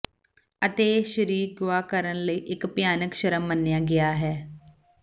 ਅਤੇ ਇਹ ਸ਼ਰੀਕ ਗੁਆ ਕਰਨ ਲਈ ਇੱਕ ਭਿਆਨਕ ਸ਼ਰਮ ਮੰਨਿਆ ਗਿਆ ਹੈ